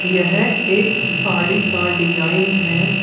यह एक साड़ी का डिजाइन है।